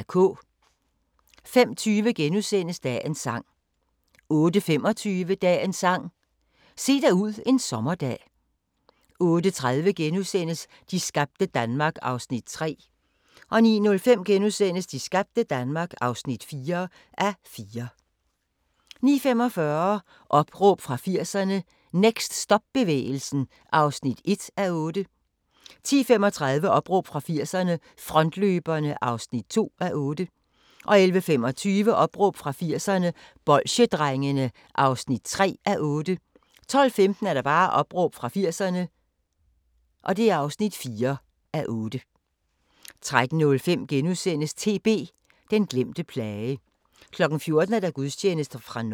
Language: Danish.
05:20: Dagens sang * 08:25: Dagens Sang: Se dig ud en sommerdag 08:30: De skabte Danmark (3:4)* 09:05: De skabte Danmark (4:4)* 09:45: Opråb fra 80'erne – Next stop-bevægelsen (1:8) 10:35: Opråb fra 80'erne – Frontløberne (2:8) 11:25: Opråb fra 80'erne – Bolsjedrengene (3:8) 12:15: Opråb fra 80'erne (4:8) 13:05: TB – den glemte plage * 14:00: Gudstjeneste fra Norge